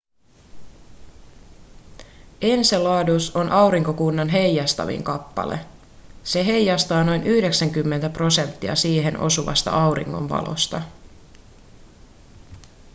enceladus on aurinkokunnan heijastavin kappale se heijastaa noin 90 prosenttia siihen osuvasta auringon valosta